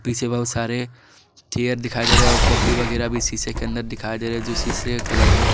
इसमें बहुत सारे चेयर दिखाई दे रहे और कॉपी वगैरा भी शीशे के अंदर दिखाई दे रहे जो शीशे का कलर है।